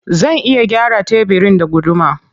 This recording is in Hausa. Zan iya gyara tebirin da gudumar.